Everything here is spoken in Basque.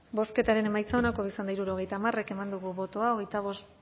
bozketaren emaitza onako izan da hirurogeita hamar eman dugu bozka